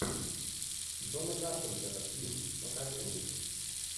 джона карпентера фильм покажи мне